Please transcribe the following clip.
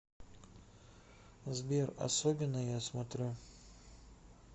сбер особенные я смотрю